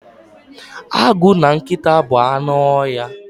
Agụ na nkịta bụ anụ ọhịa.